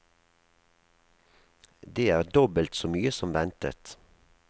Det er dobbelt så mye som ventet.